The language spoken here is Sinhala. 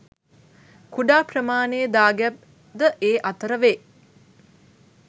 කුඩා ප්‍රමාණයේ දාගැබ් ද ඒ අතර වේ.